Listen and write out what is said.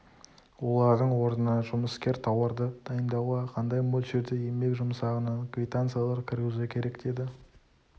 олардың орнына жұмыскер тауарды дайындауға қандай мөлшерде еңбек жұмсағанын квитанциялар кіргізу керек деді